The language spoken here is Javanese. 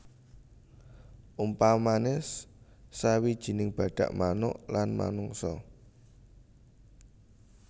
Umpamane sawijining badak manuk lan manungsa